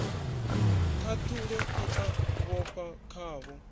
khathulo i a vhofha khavho